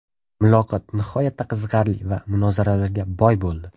Muloqot nihoyatda qiziqarli va munozaralarga boy bo‘ldi.